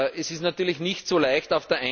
Das ist natürlich nicht so leicht.